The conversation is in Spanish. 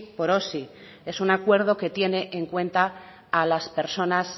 por osi es un acuerdo que tiene en cuenta a las personas